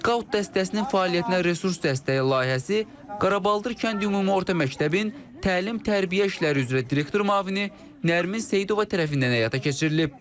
Skaut dəstəsinin fəaliyyətinə resurs dəstəyi layihəsi Qaraballdır kənd ümumi orta məktəbin təlim-tərbiyə işləri üzrə direktor müavini Nərmin Seyidova tərəfindən həyata keçirilib.